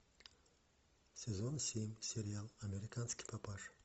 сезон семь сериал американский папаша